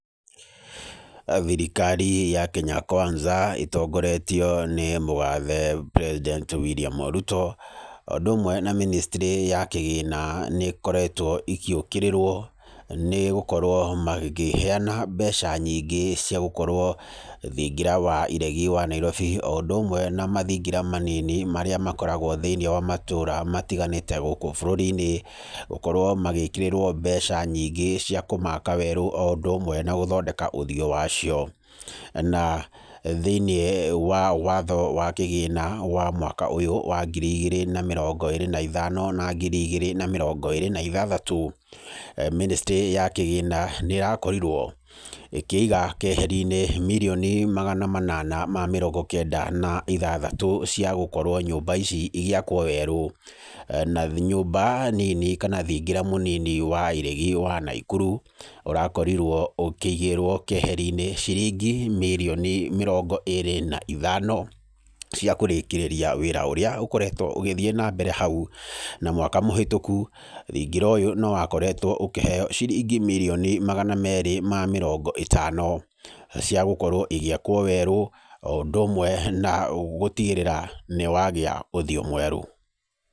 Thirikari ya Kenya Kwanza ĩtongoretio nĩ mũthathe president William Ruto o ũndũ ũmwe na ministry ya kĩgĩna nĩkoretwo igĩũkĩrĩrwo, nĩgũkorwo makĩheyana mbeca nyingĩ cia gũkorwo thingira wa iregi wa Nairobi o ũndũ ũmwe na mathingira manini marĩa makoragwo thĩiniĩ wa matũra matiganĩte gũkũ bũrũri-inĩ, gũkorwo magĩkĩrĩrwo mbeca nyingĩ cia kũmaka werũ o ũndũ ũmwe na gũthondeka ũthiũ wacio. Na thĩiniĩ wa watho wa kĩgĩna wa mwaka ũyũ wa ngiri igĩrĩ na mĩrongo ĩrĩ na ithano na ngiri igĩrĩ na mĩrongo ĩrĩ na ithathatũ, ministry ya kĩgĩna nĩ ĩrakorirwo ĩkĩiga keheri-inĩ mirioni magana manana ma mĩrongo kenda na ithathatũ, cia gũkorwo nyũmba ici igĩakwo werũ. Na nyũmba nini kana thingira mũnini wa iregi wa Naikuru ũrakorirwo ũkĩigĩrwo keheri-inĩ ciringi mirioni mĩrongo ĩrĩ na ithano cia kũrĩkĩrĩria wĩra ũrĩa ũkoretwo ũgĩthiĩ na mbere hau. Na mwaka mũhĩtũku thingira ũyũ, nowakoretwo ũkĩheo ciringi mirioni magana merĩ ma mĩrongo ĩtano cia gũkorwo igĩakwo werũ, o ũndũ ũmwe na gũtigĩrĩra nĩ wagĩa ũthiũ mwerũ.